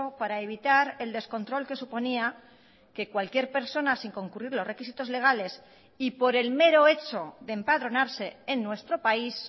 para evitar el descontrol que suponía que cualquier persona sin concurrir los requisitos legales y por el mero hecho de empadronarse en nuestro país